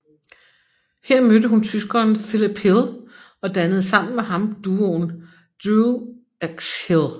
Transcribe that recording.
Her mødte hun tyskeren Philipp Hill og dannede sammen med ham duoen DREWXHILL